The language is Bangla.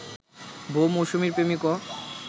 বউ মৌসুমীর প্রেমিকও